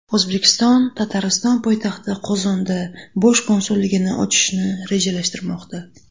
O‘zbekiston Tatariston poytaxti Qozonda bosh konsulligini ochishni rejalashtirmoqda.